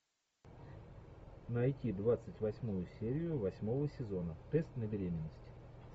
найти двадцать восьмую серию восьмого сезона тест на беременность